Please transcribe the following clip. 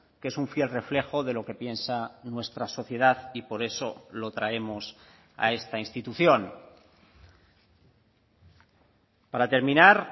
que es un fiel reflejo de lo que piensa nuestra sociedad y por eso lo traemos a esta institución para terminar